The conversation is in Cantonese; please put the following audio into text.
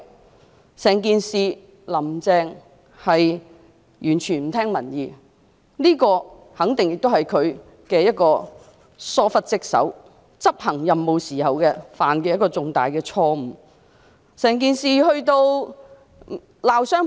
在整件事上，"林鄭"完全不聽民意，這肯定亦是她疏忽職守的表現，是她執行任務時所犯的一個重大錯誤。